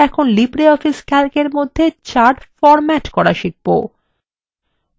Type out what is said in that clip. আমরা এখন libreoffice calcএর মধ্যে charts ফরম্যাট করা শিখবো